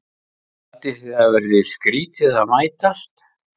Haldið þið að það verið skrýtið að mætast?